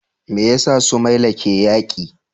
Me yasa Somalia ke yaki?